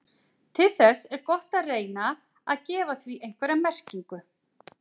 Til þess er gott að reyna að gefa því einhverja merkingu.